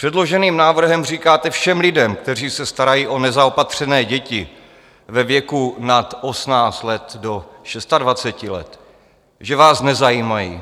Předloženým návrhem říkáte všem lidem, kteří se starají o nezaopatřené děti ve věku nad 18 let do 26 let, že vás nezajímají,